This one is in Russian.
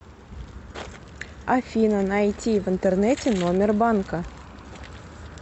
афина найти в интернете номер банка